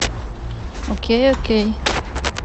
окей окей